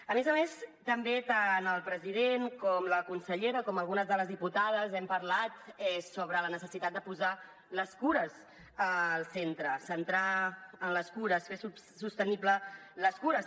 a més a més també tant el president com la consellera com algunes de les diputades hem parlat sobre la necessitat de posar les cures al centre centrar en les cures fer sostenible les cures